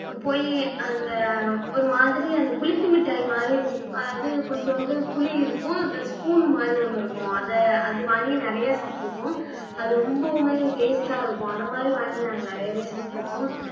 ஆஹ் புளி அந்த ஒரு மாதிரி அந்த புளிப்பு மிட்டாய் மாதிரி அதாவது கொஞ்சோண்டு புளி இருக்கும் அந்த spoon மாதிரி ஒண்ணு இருக்கும் அதை அது வாங்கி நிறைய சாப்பிட்டு இருக்கோம் அது ரொம்பவுமே taste ஆ இருக்கும் அதை மாதிரி வாங்கி நாங்க நிறையவே சாப்பிட்டு இருக்கோம்